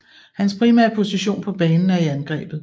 Hans primære position på banen er i angrebet